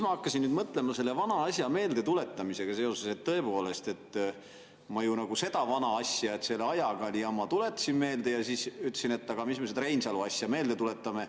Ma hakkasin nüüd mõtlema selle vana asja meeldetuletamisega seoses, et tõepoolest, ma ju nagu seda vana asja, et selle ajaga oli jama, tuletasin meelde, ja siis ütlesin, et aga mis me seda Reinsalu asja meelde tuletame.